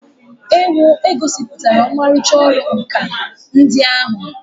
Ewoo! E gosipụtara ọmarịcha ọrụ nkà ndị ahụ.